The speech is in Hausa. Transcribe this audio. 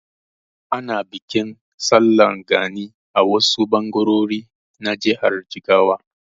Ana bikin Sallar gani a wasu ɓangarori na jihar Jigawa.